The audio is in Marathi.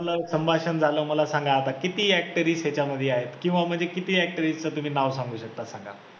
संभाषण झालं मला सांगा आता किती actors त्याच्यामध्ये आहे किंवा म्हणजे किती actors च तुम्ही नाव सांगू शकता सांगा.